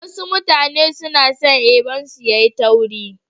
Wasu mutane suna son eban su yayi tauri.